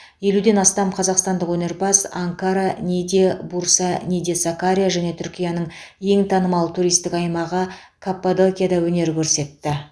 елуден астам қазақстандық өнерпаз анкара ниде бурса ниде сакария және түркияның ең танымал туристік аймағы каппадокияда өнер көрсетті